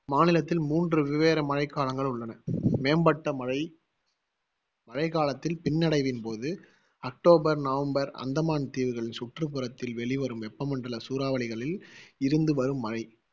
மாநிலத்தில் மூன்று வெவ்வேற மழைக்காலங்கள் உள்ளன மேம்பட்ட மழை மழைக்காலத்தில் பின்னடைவின் போது அக்டோபர் நவம்பர் அந்தமான் தீவுகள் சுற்றுப்புறத்தில் வெளிவரும் வெப்பமண்டல சூறாவளிகளில் இருந்து வரும் மழை